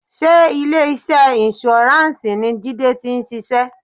Sé ilé iṣẹ́ insurance ni Jide ti ń ṣiṣẹ́?